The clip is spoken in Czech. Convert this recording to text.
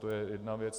To je jedna věc.